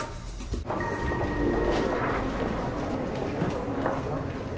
við